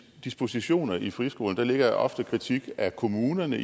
dispositioner i friskolerne der ligger ofte kritik af kommunerne